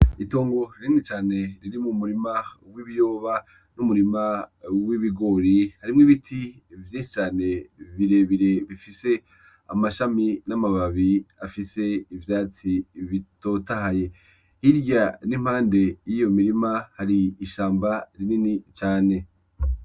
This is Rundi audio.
Itongo rinini cane riri mu murima w'ibiyoba n'umurima w'ibigori harimwo ibiti vye cane birebire bifise amashami n'amababi afise ivyatsi bitotahaye hilya n'impande y'iyo mirima hari ishamba rinini cane.